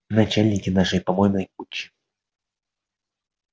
начальнички нашей помойной кучи